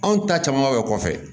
Anw ta caman bɛ kɔfɛ